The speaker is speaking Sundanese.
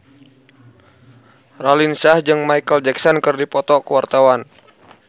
Raline Shah jeung Micheal Jackson keur dipoto ku wartawan